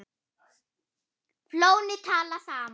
Flóni- tala saman.